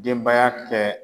Denbaya kɛ